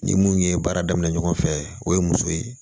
Ni mun ye baara daminɛ ɲɔgɔn fɛ o ye muso ye